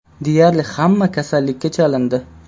Deyarli hamma kasallikka chalindi.